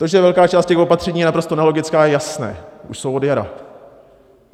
To, že velká část těch opatření je naprosto nelogická, je jasné, už jsou od jara.